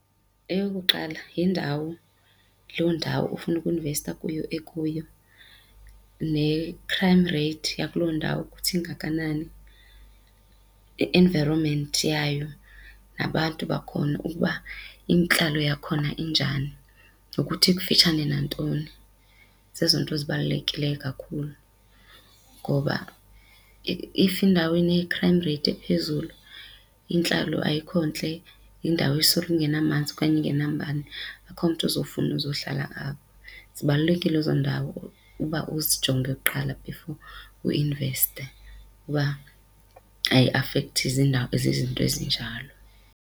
Eyokuqala yindawo loo ndawo ofuna uku-investa kuyo ekuyo ne-crime rate yakuloo ndawo kuthi ingakanani, i-environment yayo nabantu bakhona ukuba intlalo yakhona injani nokuthi ikufitshane nantoni. Zezo nto zibalulekileyo kakhulu ngoba if indawo ine-crime rate ephezulu, intlalo ayikho ntle, yindawo isoloko ingenamanzi okanye ingenambane akukho mntu ozofuna uzohlala apho. Zibalulekile ezo ndawo uba uzijonge kuqala before uinveste uba ayiafekthi zizinto ezinjalo.